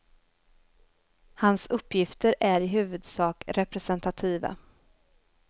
Hans uppgifter är i huvudsak representativa.